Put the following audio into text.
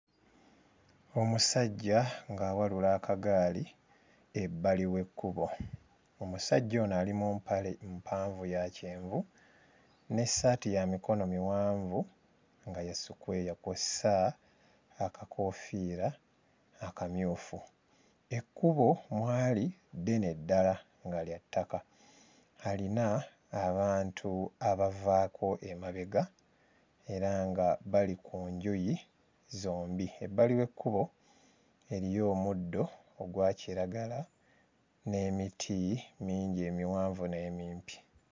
Omusajja ng'awalula akaggaali ebbali w'ekkubo. Omusajja ono ali mu mpale mpanvu ya kyenvu n'essaati ya mikono miwanvu nga ya sikweya kw'ossa akakoofiira akamyufu, ekkubo mwali ddene ddala nga lya ttaka, alina abantu abavaako emabega era nga bali ku njuyi zombi, ebbali w'ekkubo eriyo omuddo ogwa kiragala n'emiti mingi emiwanvu n'emimpi.